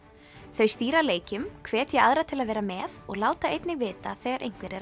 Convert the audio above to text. þau stýra leikjum hvetja aðra til að vera með og láta einnig vita þegar einhver er